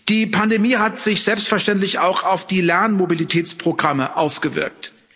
Die Pandemie hat sich selbstverständlich auch auf die Lernmobilitätsprogramme ausgewirkt.